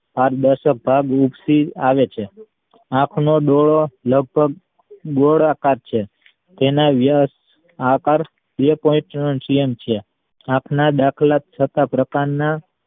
પારદર્શક ભાગ ઉંચકી આવે છે આપનો ડોળો લગભગ ગોળ આકાર છે તેના વ્યાસ બે point આ same છે આપણા દાખલા થતા પ્રકાર ના